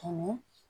Tunun